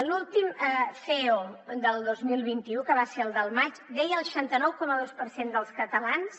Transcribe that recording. l’últim ceo del dos mil vint u que va ser el del maig deia que el seixanta nou coma dos per cent dels catalans